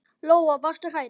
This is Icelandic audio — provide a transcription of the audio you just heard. Lóa: Varstu hrædd?